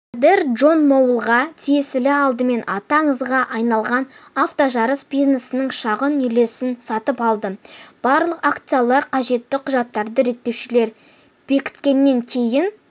миллиардер джон малоунға тиесілі алдымен аты аңызға айналған автожарыс бизнесінің шағын үлесін сатып алды барлық акциялар қажетті құжаттарды реттеушілер бекіткеннен кейін